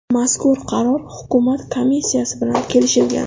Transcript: Mazkur qaror hukumat komissiyasi bilan kelishilgan.